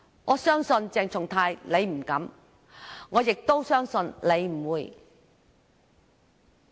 我相信鄭松泰議員不敢，我亦相信他不會。